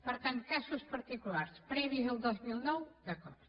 per tant casos particulars previs al dos mil nou d’acord